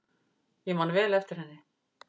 Ég man vel eftir henni.